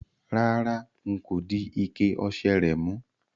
Rárá, n kò di ike ose rè mú